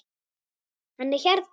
Hann er hérna.